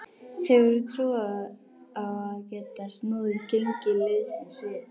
Hefurðu trú á að geta snúið gengi liðsins við?